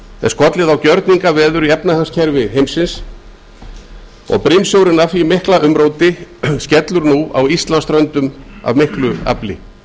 er skollið á gjörningaveður í efnahagskerfi heimsins og brimsjórinn af því mikla umróti skellur nú íslandsströndum af miklu afli